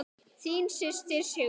Þín systir, Sigrún.